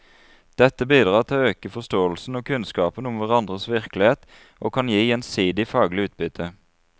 Dette bidrar til å øke forståelsen og kunnskapen om hverandres virkelighet og kan gi gjensidig faglig utbytte.